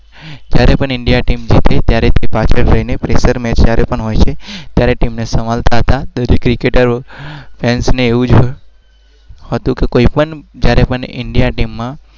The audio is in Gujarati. ત્યારે મને ઈન્ડિયાની ટીમ ગમી.